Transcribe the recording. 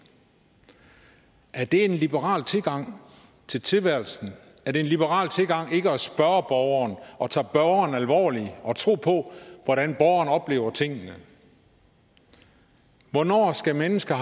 er det en liberal tilgang til tilværelsen er det en liberal tilgang ikke at spørge borgeren og tage borgeren alvorligt og tro på hvordan borgeren oplever tingene hvornår skal mennesker